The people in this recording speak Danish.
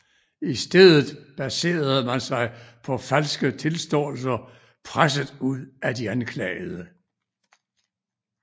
I stedet baserede man sig på falske tilståelser presset ud af de anklagede